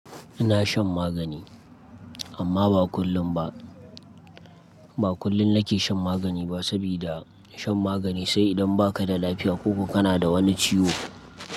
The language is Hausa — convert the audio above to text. Ina shan magani amma ba kullum ba. Ba kullum nake shan magani ba, saboda shan magani sai idan baka da lafiya ko kana da wani ciwo.